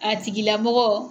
A tigilamɔgɔ.